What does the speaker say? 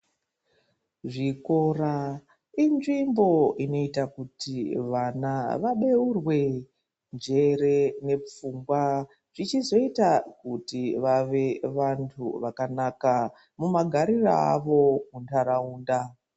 Zvikora ,inzvimbo inoita kuti vana vabeurwe njere nepfungwa zvichizoita kuti vave vantu vakanaka mumagariro avo muntaraunda.